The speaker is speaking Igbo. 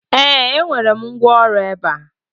ee, enwere m ngwaọrụ ebe a